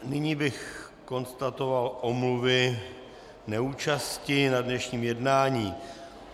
Nyní bych konstatoval omluvy neúčasti na dnešním jednání.